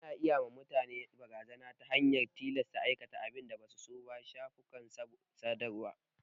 Ana iya ma mutane barazana ta hanyar tilasta su aikata abin da basu so ta shafukan sadarwa.